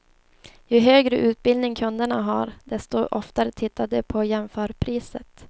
Ju högre utbildning kunderna har, desto oftare tittar de på jämförpriset.